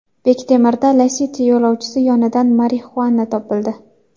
Bektemirda Lacetti yo‘lovchisi yonidan marixuana topildi.